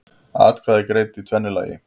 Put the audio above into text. Atkvæði greidd í tvennu lagi